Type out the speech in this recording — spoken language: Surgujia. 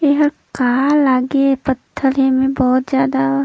एहा का लागे पत्थल हे एमा बहोत जादा--